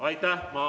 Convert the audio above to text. Aitäh!